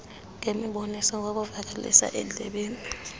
ngemiboniso ngokuvakalisa endlebeni